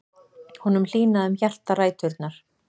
Honum hlýnaði um hjartaræturnar.